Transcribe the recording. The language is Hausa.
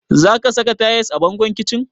Za ka sa tayis a bangon kicin?